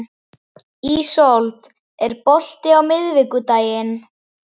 Ísold, er bolti á miðvikudaginn?